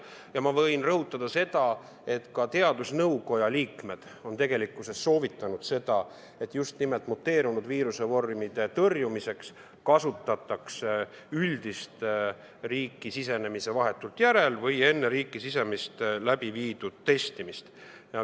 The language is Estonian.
Ja ma võin rõhutada seda, et ka teadusnõukoja liikmed on soovitanud, et muteerunud viirusevormide tõrjumiseks kasutataks üldist testimist vahetult riiki sisenemise järel või enne riiki sisenemist.